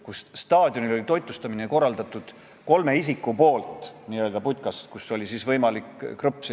Ma saaks aru, kui me räägiksime seda kõike aastal 1997 või 1998, kui on meie taasiseseisvumisest mõni aasta möödas.